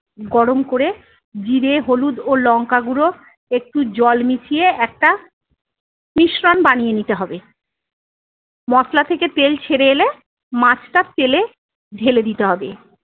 গরম করে জিরে হলুদ ও লঙ্কাগুঁড়ো একটু জল মিশিয়ে একটা মিশ্রণ বানিয়ে নিতে হবে। মশলা থেকে তেল ছেড়ে এলে মাছটা তেলে ঢেলে দিতে হবে।